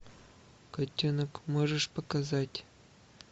котенок можешь показать